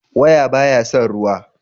waya ba ya san ruwa